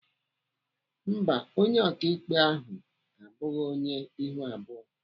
Mba, onye ọkaikpe ahụ abụghị onye ihu abụọ.